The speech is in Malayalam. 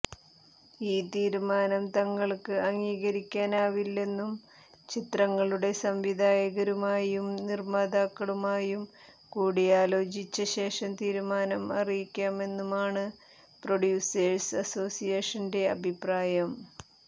ഈ തീരുമാനം തങ്ങള്ക്ക് അംഗീകരിക്കാനാവില്ലെന്നും ചിത്രങ്ങളുടെ സംവിധായകരുമായും നിർമ്മാതാക്കളുമായും കൂടിയാലോചിച്ച ശേഷം തീരുമാനം അറിയിക്കാമെന്നുമാണ് പ്രൊഡ്യൂസേഴ്സ് അസോസിയേഷന്റെ അഭിപ്രായം